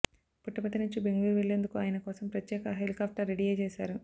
పుట్టపర్తి నుంచి బెంగళూరు వెళ్లేందుకు ఆయన కోసం ప్రత్యేక హెలికాఫ్టర్ రెడీ చేశారు